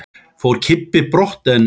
Fór Kimbi brott en